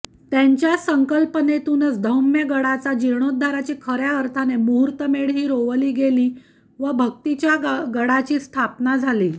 त्यांच्या संकल्पनेतूनच धौम्यगडाचा जीर्णोद्धाराची खऱ्या अर्थाने मुहूर्तमेढ ही रोवली गेली व भक्तीच्या गडाची स्थापना झाली